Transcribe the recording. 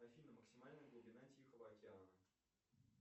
афина максимальная глубина тихого океана